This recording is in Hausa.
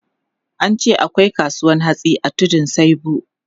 An ce akwai kasuwan hatsi a Tudun Saibu.